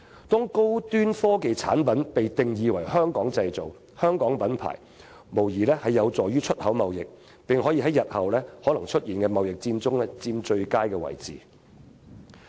把高端科技產品定義為"香港製造"或"香港品牌"，無疑有助於本港的出口貿易，並可讓我們在日後可能出現的貿易戰中佔據最佳位置。